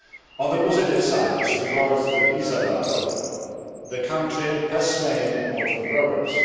On the positive side, as regards the visa dialogue, the country has made important progress.